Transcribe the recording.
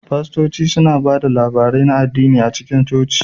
Fastoci suna ba da labarai na addini a cikin coci.